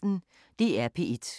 DR P1